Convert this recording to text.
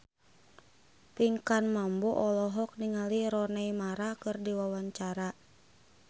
Pinkan Mambo olohok ningali Rooney Mara keur diwawancara